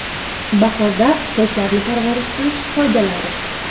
Bahorda sochlarni parvarish qilish qoidalari.